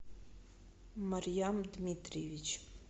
марьям дмитриевич